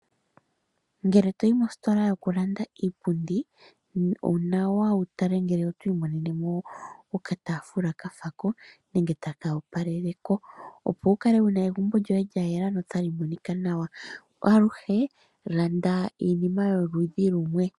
Ngele toyi mositola yokulanditha iipundi onawa wutale ngele oto imonenemo okataafula kafelako nenge taka opaleleko opo wukale wuna egumbo lyoye lyayela notali monika nawa. Aluhe landa iinima yoludhi lumwe.